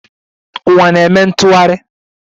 Uwa na-eme ntụghari